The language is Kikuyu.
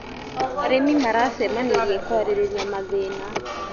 Arĩmi maracemanirie kwarĩrĩria mathina.